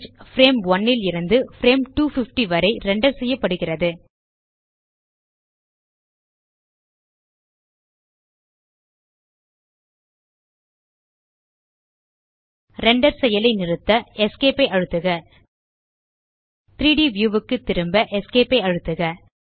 frame 1 லிருந்து frame 250 வரை render செய்யப்படுகிறது ரெண்டர் செயலை நிறுத்த Esc ஐ அழுத்துக 3ட் வியூ க்கு திரும்ப Esc ஐ அழுத்துக